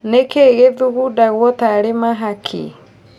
Nĩkĩĩ gĩthugudagwo tarĩ mahakĩ?